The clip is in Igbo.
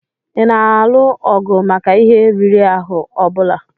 Ị na-alụ ọgụ maka ihe riri ahụ ọ bụla?